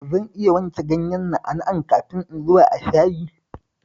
Zan iya wanke ganyen na'a-na'an kafin in zuba a shayin?